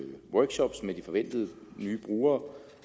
de forventede nye brugere